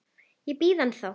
Ég bíð ennþá!